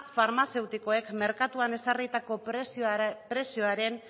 farmazeutikoek merkatuan ezarritako prezioaren